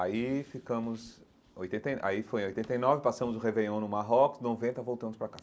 Aí ficamos oitenta e, aí foi em oitenta e nove, passamos o réveillon no Marrocos, noventa, voltamos para cá.